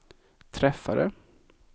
träffade